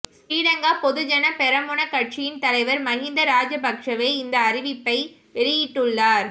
ஸ்ரீ லங்கா பொதுஜன பெரமுன கட்சியின் தலைவர் மகிந்த ராஜபக்ஷவே இந்த அறிவிப்பை வெளியிட்டுள்ளார்